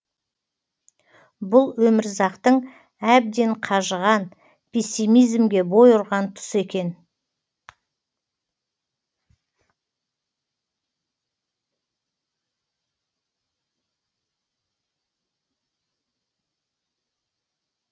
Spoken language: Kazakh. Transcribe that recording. бұл өмірзақтың әбден қажыған пессимизмге бой ұрған тұсы екен